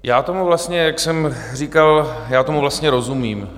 Já tomu vlastně, jak jsem říkal, já tomu vlastně rozumím.